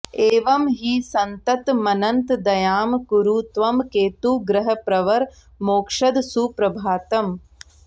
एवम् हि सन्ततमनन्तदयां कुरु त्वम् केतुग्रहप्रवर मोक्षद सुप्रभातम्